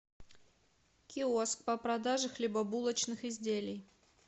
киоск по продаже хлебобулочных изделий